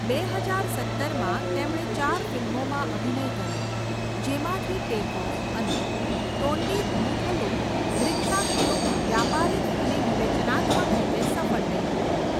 બે હજાર સત્તરમાં, તેમણે ચાર ફિલ્મોમાં અભિનય કર્યો જેમાંથી ટેક ઓફ અને તોન્ડીમુથલુમ દ્રીક્ષાક્ષિયુમ વ્યાપારીક અને વિવેચનાત્મક રીતે સફળ રહી.